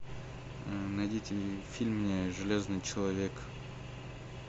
найдите фильм мне железный человек